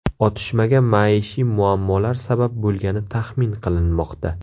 Otishmaga maishiy muammolar sabab bo‘lgani taxmin qilinmoqda.